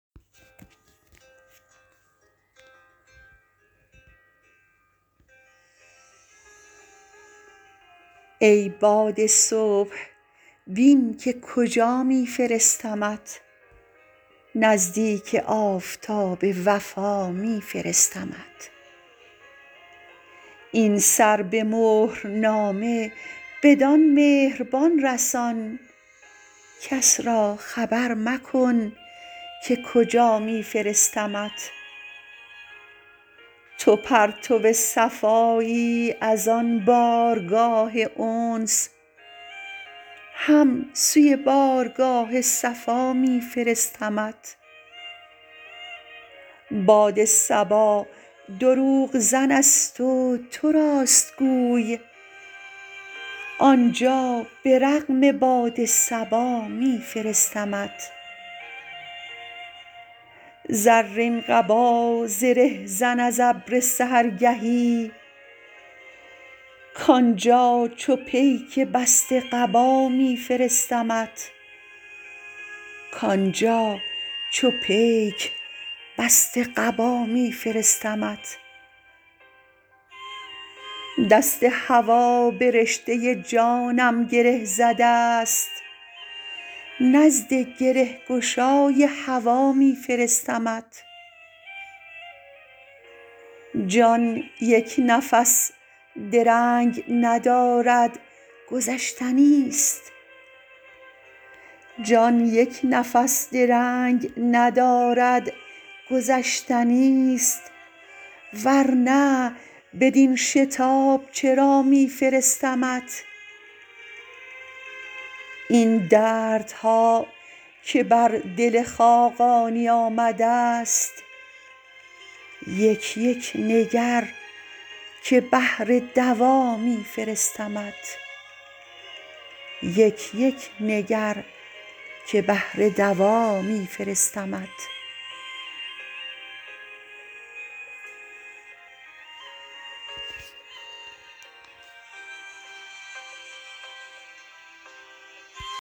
ای باد صبح بین که کجا می فرستمت نزدیک آفتاب وفا می فرستمت این سر-به-مهر-نامه بدان مهربان رسان کس را خبر مکن که کجا می فرستمت تو پرتو صفایی از آن بارگاه انس هم سوی بارگاه صفا می فرستمت باد صبا دروغ زن است و تو راست گوی آنجا به رغم باد صبا می فرستمت زرین قبا زره زن از ابر سحرگهی کآنجا چو پیک بسته قبا می فرستمت دست هوا به رشته جانم گره زده است نزد گره گشای هوا می فرستمت جان یک نفس درنگ ندارد گذشتنی است ور نه بدین شتاب چرا می فرستمت این دردها که بر دل خاقانی آمده است یک یک نگر که بهر دوا می فرستمت